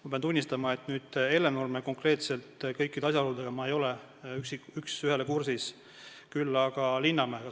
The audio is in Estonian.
Ma pean tunnistama, et konkreetselt Hellenurme juhtumi kõikide asjaoludega ei ole ma üks ühele kursis, küll aga olen kursis Linnamäe juhtumiga.